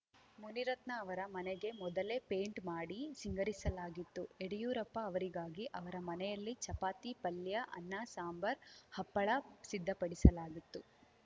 ಮುನಿರತ್ನ ಅವರ ಮನೆಗೆ ಮೊದಲೇ ಪೇಂಟ್‌ ಮಾಡಿ ಸಿಂಗರಿಸಲಾಗಿತ್ತು ಯಡಿಯೂರಪ್ಪ ಅವರಿಗಾಗಿ ಅವರ ಮನೆಯಲ್ಲಿ ಚಪಾತಿ ಪಲ್ಯ ಅನ್ನ ಸಾಂಬಾರ್‌ ಹಪ್ಪಳ ಸಿದ್ಧಪಡಿಸಲಾಗಿತ್ತು